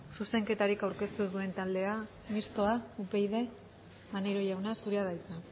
zuzenketarik aurkeztu ez duen taldea mistoa upyd maneiro jauna zurea da hitza